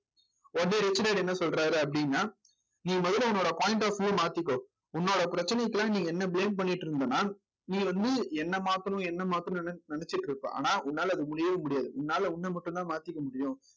உடனே rich dad என்ன சொல்றாரு அப்படின்னா நீ முதல்ல உன்னோட point of view வ மாத்திக்கோ உன்னோட பிரச்சனைக்கெல்லாம் நீ என்ன blame பண்ணிட்டு இருந்தன்னா நீ வந்து என்னை மாத்தணும் என்னை மாத்தணும்ன்னு நெனச்சிட்டு இருப்ப ஆனா உன்னால அது முடியவே முடியாது உன்னால உன்னை மட்டும்தான் மாத்திக்க முடியும்